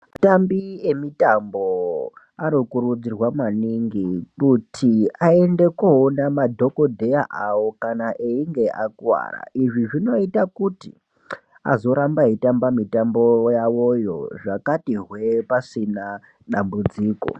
Atambi emutambo anokurudzirwa maningi kuti aende koona madhokodheya awo kana einge akuwara izvi zvinoita kuti azorambe eitamba mitambo yao zvakati hwee pasina dambudziko.